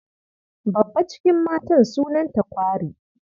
Babba cikin matan sunanta kwari.